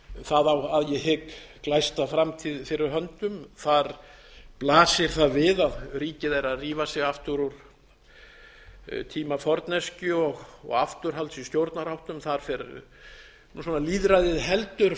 það á að ég hygg glæsta framtíð fyrir höndum þar blasir það við að ríkið er að rífa sig aftur úr tíma forneskju og afturhalds í stjórnarháttum þar fer svona lýðræðið heldur